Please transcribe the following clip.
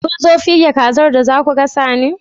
Kunzo fige kazar da zasu gasa ne?